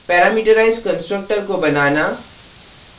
parameterized constructor को बनाना